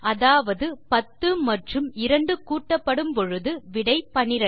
அதாவது 10 மற்றும் 2 கூட்டப்படும் பொழுது விடை 12